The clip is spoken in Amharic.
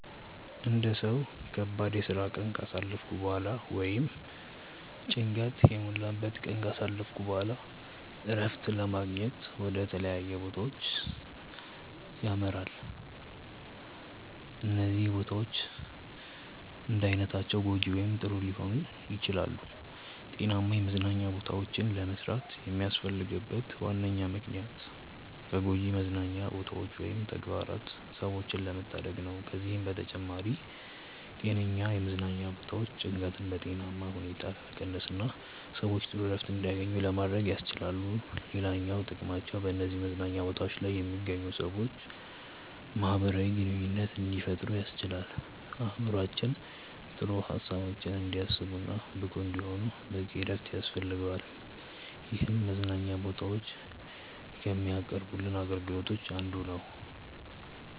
አንድ ሰው ከባድ የስራ ቀን ካሳለፈ በኋላ ወይም ጭንቀት የሞላበትን ቀን ካሳለፈ በኋላ እረፍትን ለማግኘት ወደ ተለያዩ ቦታዎች ያመራል። እነዚህ ቦታዎች እንዳይነታቸው ጐጂ ወይም ጥሩ ሊባሉ ይችላሉ። ጤናማ የመዝናኛ ቦታዎችን ለመስራት የሚያስፈልግበት ዋነኛ ምክንያት ከጎጂ መዝናኛ ቦታዎች ወይም ተግባራት ሰዎችን ለመታደግ ነው። ከዚህም በተጨማሪ ጤነኛ የመዝናኛ ቦታዎች ጭንቀትን በጤናማ ሁኔታ ለመቀነስና ሰዎች ጥሩ እረፍት እንዲያገኙ ለማድረግ ያስችላሉ። ሌላኛው ጥቅማቸው በነዚህ መዝናኛ ቦታዎች ላይ የሚገኙ ሰዎች ማህበራዊ ግንኙነት እንዲፈጥሩ ያስችላል። አእምሮአችን ጥሩ ሀሳቦችን እንዲያስብ እና ብቁ እንዲሆን በቂ እረፍት ያስፈልገዋል ይህም መዝናኛ ቦታዎች ከሚያቀርቡልን አገልግሎቶች አንዱ ነው።